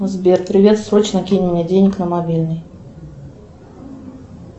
сбер привет срочно кинь мне денег на мобильный